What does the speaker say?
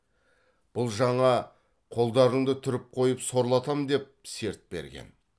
бұл жаңа қолдарыңды түріп қойып сорлатам деп серт берген